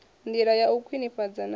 ndila ya u khwinifhadza na